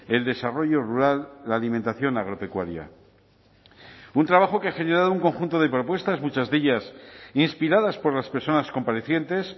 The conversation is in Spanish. el desarrollo rural la alimentación agropecuaria un trabajo que ha generado un conjunto de propuestas muchas de ellas inspiradas por las personas comparecientes